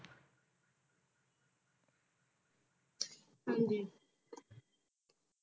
ਹਾਂਜੀ